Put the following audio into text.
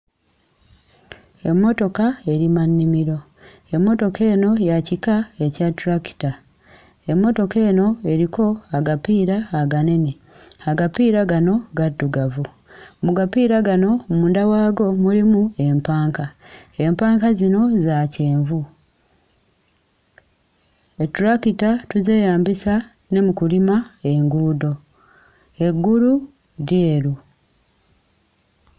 Emmotoka erima nnimiro; emmotoka eno ya kika ekya ttulakita, emmotoka eno eriko agapiira aganene, agapiira gano gaddugavu, mu agapiira gano munda waagwo mulimu empanka, empanka zino za kyenvu. Ettulakita tuzeeyambisa ne mu kulima enguudo, eggulu lyeru.